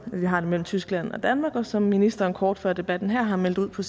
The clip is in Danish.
vi har mellem tyskland og danmark og som ministeren kort før debatten her har meldt ud på